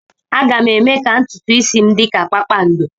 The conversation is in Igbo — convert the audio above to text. Aga m eme ka ntutu isi m dị ka kpakpando.